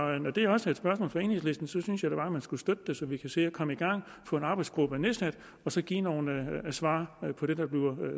når det også er et spørgsmål fra enhedslisten synes jeg da bare at man skulle støtte det så vi kan se at komme i gang få en arbejdsgruppe nedsat og så give nogle svar på det der bliver